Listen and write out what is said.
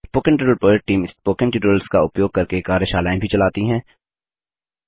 spoken tutorial project team spoken tutorials का उपयोग करके कार्यशालाएँ भी चलाती है